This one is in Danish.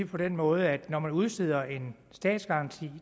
på den måde at når man udsteder en statsgaranti